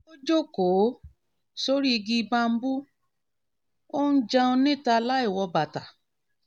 ó jókòó sórí igi bambú ó ó ń jẹun níta láìwọ bàtà